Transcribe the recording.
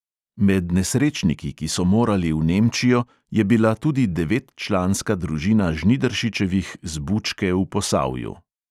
Med nesrečniki, ki so morali v nemčijo, je bila tudi devetčlanska družina žnidaršičevih z bučke v posavju.